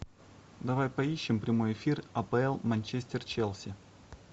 давай поищем прямой эфир апл манчестер челси